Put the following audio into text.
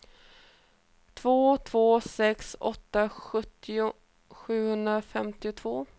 två två sex åtta sjuttio sjuhundrafemtiotvå